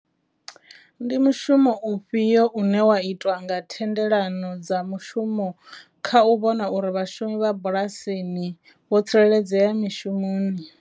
Ndi mushumo ufhio une wa itwa nga thendelano dza mushumo kha u vhona uri vhashumi vha bulasini vho tsireledzea mishumoni.